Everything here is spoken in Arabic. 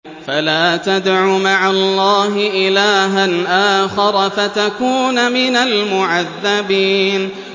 فَلَا تَدْعُ مَعَ اللَّهِ إِلَٰهًا آخَرَ فَتَكُونَ مِنَ الْمُعَذَّبِينَ